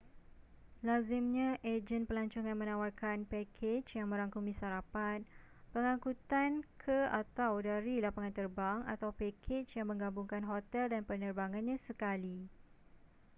lazimnya ejen pelancongan menawarkan pakej yang merangkumi sarapan pengangkutan ke/dari lapangan terbang atau pakej yang menggabungkan hotel dan penerbangannyan sekali